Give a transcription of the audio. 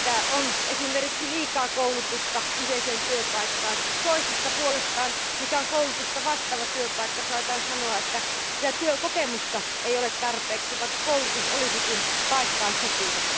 on esimerkiksi liikaa koulutusta kyseiseen työpaikkaan, toisista puolestaan koulutusta vastaavista työpaikoista saatetaan sanoa, että työkokemusta ei ole tarpeeksi, vaikka koulutus olisikin paikkaan sopiva.